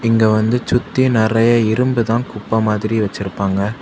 இங்க வந்து சுத்தி நறைய இரும்பு தான் குப்பை மாதிரி வச்சிருப்பாங்க.